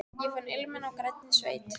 Ég fann ilminn af grænni sveit.